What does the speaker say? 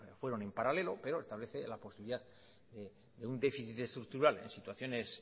fueron en paralelo pero establece la posibilidad de un déficit estructural en situaciones